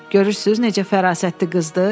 Görürsüz necə fərasətli qızdır?